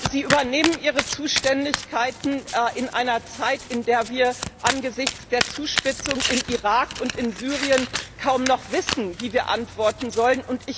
Sie übernehmen ihre Zuständigkeiten in einer Zeit, in der wir angesichts der Zuspitzung im Irak und in Syrien kaum noch wissen, wie wir antworten sollen.